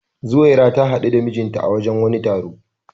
Zuwaira ta hadu da mijinta a wajen wani taro.